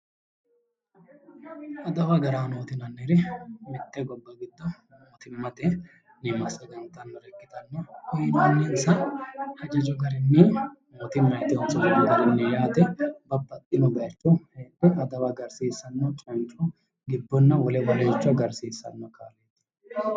Adawu agaranoti yinnanniri mite gobba giddo mootimate massagantanore ikkittanna uyinonissa hajajo garinni mootimati qoso garinni yaate, babbaxino bayicho adawa agarsiisanote canco gibbonna wole adawa agarisiisano